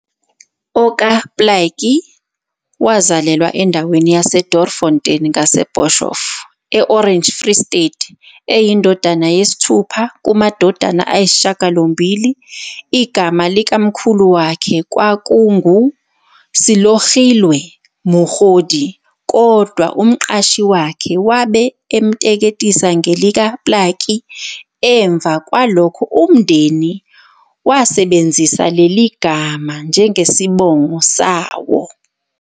OkaPlaatje wazalelwa endaweni yaseDoornfontein ngase Boshof, eOrange Free State eyindodana yesi-6 kamadodana ayi-8. Igama likamkhulu wakhe kwabe kungu Selogilwe Mogodi, kodwa umqashi wakhe wabe emteketisa ngelika-Plaatje emva kwalokho umndeni leli gama njengesibongo sawo.